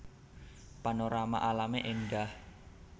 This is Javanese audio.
Panorama alamé éndah